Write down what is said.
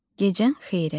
Gecən xeyrə.